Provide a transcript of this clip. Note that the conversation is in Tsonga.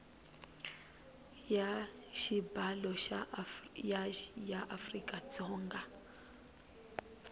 ya xibalo ya afrika dzonga